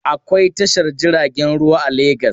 Akwai tashar jiragen ruwa a Legas.